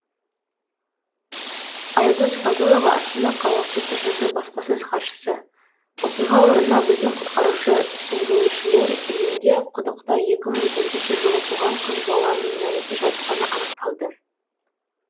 аягөз фазылова астана қаласы тжд баспасөз хатшысы оқиға орнына біздің құтқарушы сүңгуіршілер келгенде құдықта екі мың төртінші жылы туған қыз баланың мәйіті жатқаны анықталды